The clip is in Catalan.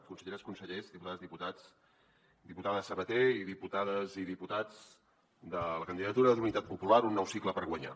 conselleres consellers diputades diputats diputada sabater i diputades i diputats de la candidatura d’unitat popular un nou cicle per guanyar